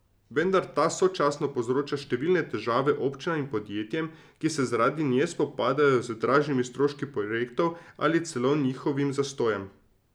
Vendar ta sočasno povzroča številne težave občinam in podjetjem, ki se zaradi nje spopadajo z dražjimi stroški projektov ali celo njihovim zastojem.